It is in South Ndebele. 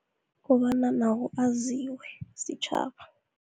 Kobana nawo aziwe sitjhaba.